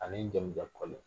Ani jamujankoli